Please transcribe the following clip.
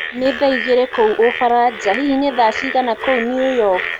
ni thaaĩgĩrĩ kũũ ufaraja hĩhĩ ni thaa cĩĩgana kũũ new york